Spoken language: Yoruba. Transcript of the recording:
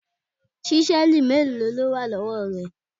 Ṣísẹ́ẹ̀lì mélòó ló wà lọ́wọ́ rẹ?